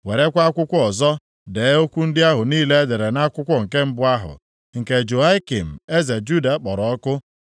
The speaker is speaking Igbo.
“Werekwa akwụkwọ ọzọ dee okwu ndị ahụ niile e dere nʼakwụkwọ nke mbụ ahụ, nke Jehoiakim eze Juda kpọrọ ọkụ.